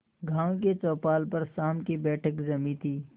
गांव की चौपाल पर शाम की बैठक जमी थी